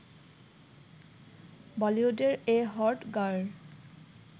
বলিউডের এ hot girl